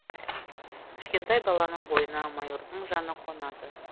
кішкентай баланың бойына майордың жаны қонады